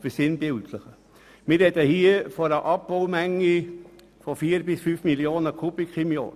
Wir beziehen uns beim ADT-Bericht auf eine Abbaumenge von 4−5 Mio. Kubikmeter pro Jahr.